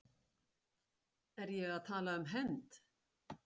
Er ég að tala um hefnd?